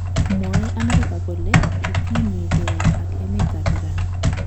Mwoe Amerika kole kitinyegei ak emet ap Iran.